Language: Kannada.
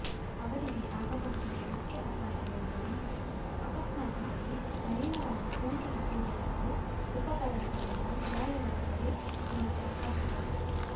ಅವರಿಗೆ ಆಗಬಹುದಾದ ಮುಖ್ಯ ಅಪಾಯವೆಂದರೆ ಅಕಸ್ಮಾತ್ತಾಗಿ ಮಲಿನವಾದ ಸೋಂಕಿತ ಸೂಜಿ ಮತ್ತು ಉಪಕರಣಗಳಿಂದ ಗಾಯವಾದರೆ ಮಾತ್ರ ಕಷ್ಟ